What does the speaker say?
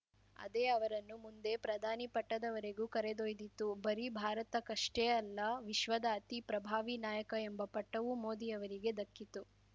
ಅದೇ ಅವರನ್ನು ಮುಂದೆ ಪ್ರಧಾನಿ ಪಟ್ಟದವರೆಗೂ ಕರೆದೊಯ್ದಿತು ಬರೀ ಭಾರತಕ್ಕಷ್ಟೇ ಅಲ್ಲ ವಿಶ್ವದ ಅತಿ ಪ್ರಭಾವಿ ನಾಯಕ ಎಂಬ ಪಟ್ಟವೂ ಮೋದಿಯವರಿಗೆ ದಕ್ಕಿತು